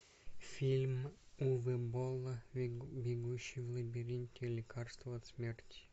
фильм уве болла бегущий в лабиринте лекарство от смерти